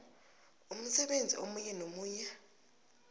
umsebenzi omunye nomunye